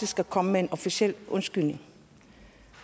at komme med en officiel undskyldning